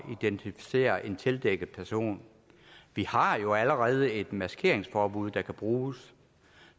identificere en tildækket person vi har jo allerede et maskeringsforbud der kan bruges